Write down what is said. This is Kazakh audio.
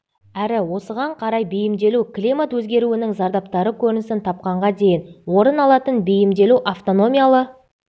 әрі осыған орай бейімделу климат өзгеруінің зардаптары көрінісін тапқанға дейін орын алатын бейімделу автономиялы